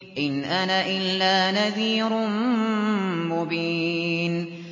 إِنْ أَنَا إِلَّا نَذِيرٌ مُّبِينٌ